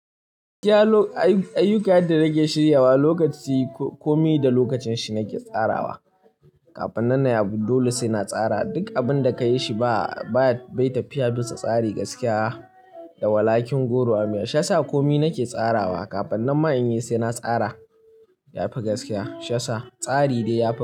Gaskiya ayyuka yenda nake shirya wa lokaci komai da lokacin shi nake tsarawa. Kafin nan na yi abu dole sai na tsara. Duk abun da ka yi shi bai tafiya bisa tsari gaskiya da walakin goro a miya. Shi yasa komai nake tsarawa. Kafin nan ma in yi sai na tsara ya fi gaskiya. Shi yasa tsari dai ya fi.